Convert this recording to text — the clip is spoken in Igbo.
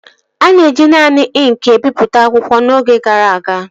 A na-eji naanị ịnkị ebipụta akwụkwọ n'oge gara aga